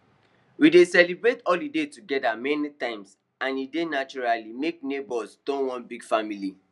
we dey celebrate holiday together many times and e dey naturally make neighbours turn one big family